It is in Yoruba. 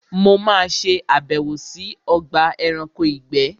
Mo ma ṣe àbẹ̀wò sí Ogba eranko ìgbé